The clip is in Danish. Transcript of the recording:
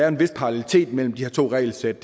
en vis parallelitet mellem de her to regelsæt